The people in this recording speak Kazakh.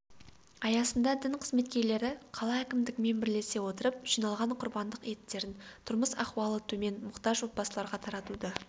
аясында дін қызметкерлері қала әкімдігімен бірлесе отырып жиналған құрбандық еттерін тұрмыс-ахуалы төмен мұқтаж отбасыларға таратуды